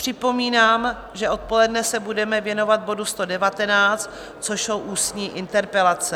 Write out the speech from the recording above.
Připomínám, že odpoledne se budeme věnovat bodu 119, což jsou ústní interpelace.